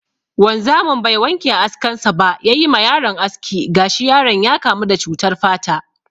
Wanzamin bai wanke askan sa ba ya yi ma yaron aski, gashi yaron ya kamu da cutar fata.